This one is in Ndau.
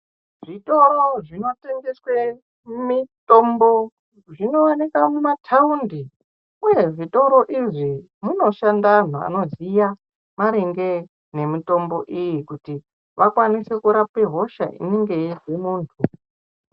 Zvitoro zvinotengeswe mitombo zvinooneka mumataundi uye muzvitoro izvi munoshanda antu anoziya maringe nemitombo iyi kuti vakwanise kurapa hosha inenge yeizwe muntu.